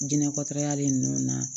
Diinɛ kɔtalen ninnu na